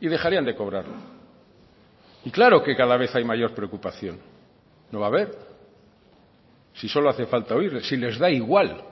y dejarían de cobrarlo y claro que cada vez hay mayor preocupación no va a haber si solo hace falta oírles si les da igual